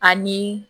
Ani